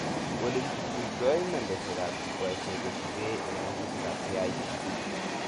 Olekichuchutoi nambeshekab jukwaishek kochukee ak magutikab KICD